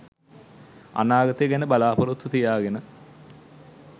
අනාගතය ගැන බලා‍පොරොත්තු තියාගෙන